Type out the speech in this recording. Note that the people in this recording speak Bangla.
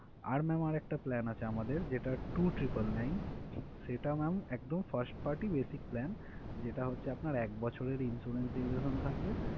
আর ma'am আরেকটা plan আছে আমদের যেটা two triple nine সেটা ma'am একদম first party basic plan যেটা হচ্ছে আপনার এক বছরের insurance duration থাকবে।